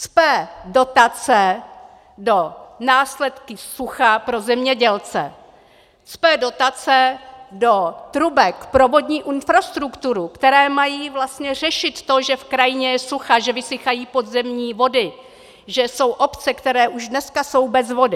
Cpe dotace do následků sucha pro zemědělce, cpe dotace do trubek pro vodní infrastrukturu, které mají vlastně řešit to, že v krajině je sucho, že vysychají podzemní vody, že jsou obce, které už dneska jsou bez vody.